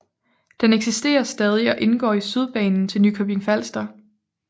Den eksisterer stadig og indgår i Sydbanen til Nykøbing Falster